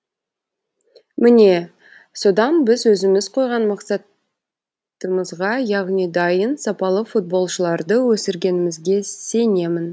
міне содан біз өзіміз қойған мақсатымызға яғни дайын сапалы футболшыларды өсіргенімізге сенемін